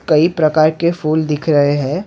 कई प्रकार के फूल दिख रहे हैं।